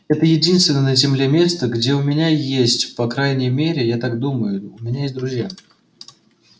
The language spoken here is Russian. это единственное на земле место где у меня есть по крайней мере я так думаю у меня есть друзья